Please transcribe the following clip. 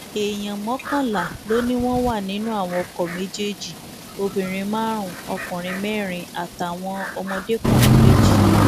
èèyàn mọkànlá ló ní wọn wà nínú àwọn ọkọ méjèèjì obìnrin márùnún ọkùnrin mẹrin àtàwọn ọmọdékùnrin méjì